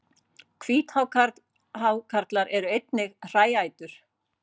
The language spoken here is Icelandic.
Hvíthákarlar eru einnig hræætur.